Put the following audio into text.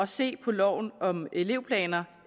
se på loven om elevplaner